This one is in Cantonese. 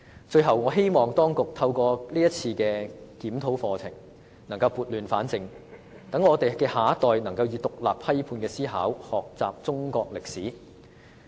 最後，我希望當局透過是次課程檢討，能撥亂反正，讓我們的下一代能以獨立批判的思考學習中國歷史。